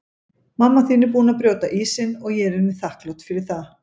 Mamma þín er búin að brjóta ísinn og ég er henni þakklát fyrir það.